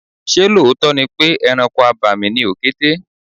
Ṣé lóòótọ́ ni pé ẹranko abàmì ni òkété?